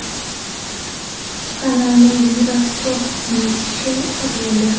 Kanalni Yura Korb ismli kishi sotib oldi.